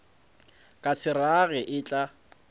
ka se rage e tla